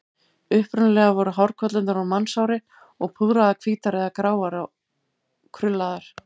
Upprunalega voru hárkollurnar úr mannshári og púðraðar hvítar eða gráar og krullaðar.